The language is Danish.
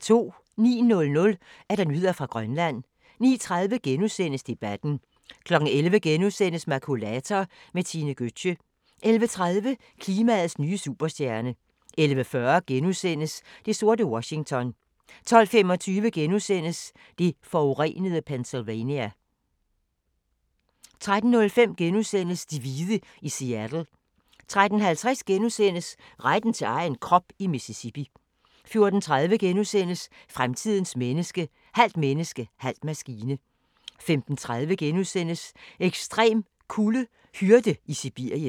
09:00: Nyheder fra Grønland 09:30: Debatten * 11:00: Makulator med Tine Gøtzsche * 11:30: Klimaets nye superstjerne 11:40: Det sorte Washington * 12:25: Det forurenede Pennsylvania * 13:05: De hvide i Seattle * 13:50: Retten til egen krop i Mississippi * 14:30: Fremtidens menneske – halvt menneske, halv maskine * 15:30: Ekstrem kulde: Hyrde i Sibirien *